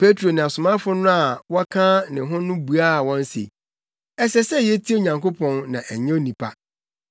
Petro ne asomafo a wɔka ne ho no buaa wɔn se, “Ɛsɛ sɛ yetie Onyankopɔn na ɛnyɛ nnipa,